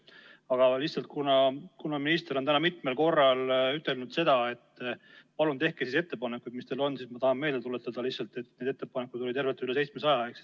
Aga lihtsalt, kuna minister on täna mitmel korral ütelnud, et palun tehke ettepanekuid, mis teil on, siis ma tahan meelde tuletada, et meil oli ettepanekuid tervelt üle 700.